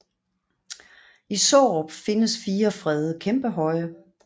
I Sårup findes fire fredede kæmpehøje